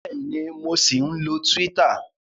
Bẹ́ẹ̀ni, mo ṣì ń lọ Twitter